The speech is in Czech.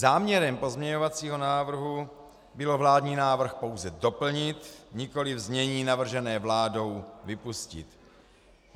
Záměrem pozměňovacího návrhu bylo vládní návrh pouze doplnit, nikoliv znění navržené vládou vypustit.